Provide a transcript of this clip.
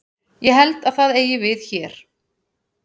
Ég held að það eigi við hér.